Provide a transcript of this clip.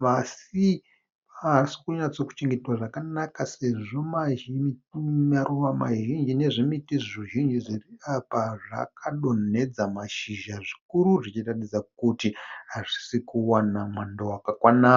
pasi haasi kunyatsochengetwa zvakanaka sezvo maruva mazhinji nezvimiti zvizhinji zviri apa zvakadonhedza mashizha zvikuru zvichiratidza kuti hazvisi kuwana mwando wakakwana.